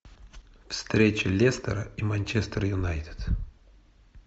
встреча лестера и манчестер юнайтед